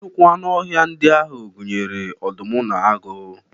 Nnukwu anụ ọhịa ndị ahụ gụnyere ọdụm na agụ